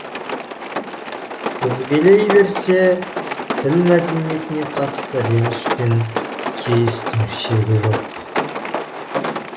тізбелей берсе тіл мәдениетіне қатысты реніш пен кейістің шегі жоқ